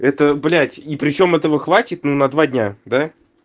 это блядь и причём этого хватит но на два дня да